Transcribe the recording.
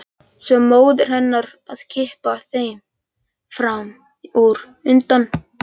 Svo móðir hennar að kippa þeim fram úr undan bununni.